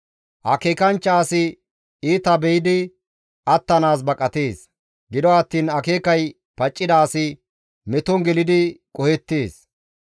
Akeekanchcha asi iita be7idi attanaas baqatees; gido attiin akeekay paccida asi meton gelidi qohettees.